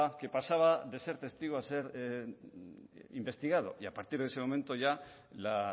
que pasaba de ser testigo a ser investigado y a partir de ese momento ya la